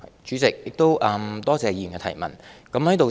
主席，多謝議員提出的補充質詢。